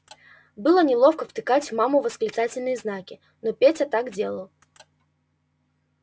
было неловко втыкать в маму восклицательные знаки но петя так делал